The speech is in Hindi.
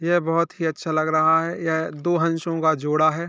ये बहौत ही अच्छा लग रहा है यह दो हंसो का जोड़ा है।